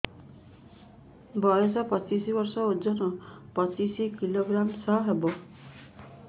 ବୟସ ପଚିଶ ବର୍ଷ ଓଜନ ପଚିଶ କିଲୋଗ୍ରାମସ ହବ